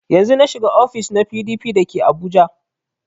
Yanzun na shiga ofis na PDP da ke abuja